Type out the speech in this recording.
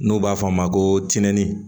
N'u b'a fɔ a ma ko tɛni